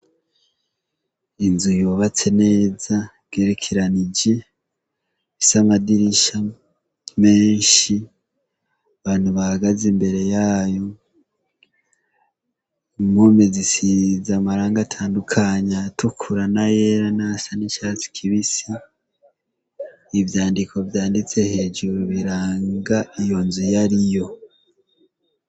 Inzu yubatse neza igerekeranije ifise amadirisha menshi, abantu bahagaze imbere yayo, impome zisize amarangi atandukanya, ayatukura, n'ayera, n'ayasa n'icatsi kibisi, ivyandiko vyanditse hejuru biranga iyo nzu iyariyo.